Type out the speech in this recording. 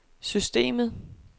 systemet